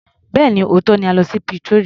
Bẹ́ẹ̀ni, òótọ́ ni a lọ sí Pretoria.